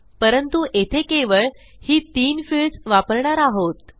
परंतु येथे केवळ ही 3 फील्ड्स वापरणार आहोत